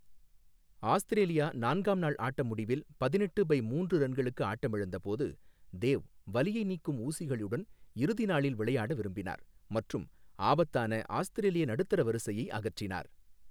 Australia நான்காம் நாள் ஆட்ட முடிவில் பதினெட்டு பை மூன்று ரன்களுக்கு ஆட்டமிழந்தபோது, தேவ் வலியை நீக்கும் ஊசிகளுடன் இறுதி நாளில் விளையாட விரும்பினார் மற்றும் ஆபத்தான ஆஸ்திரேலிய நடுத்தர வரிசையை அகற்றினார்.